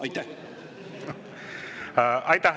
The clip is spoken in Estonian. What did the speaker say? Aitäh!